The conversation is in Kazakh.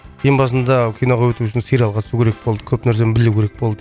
ең басында киноға өту үшін сериалға түсу керек болды көп нәрсені білу керек болды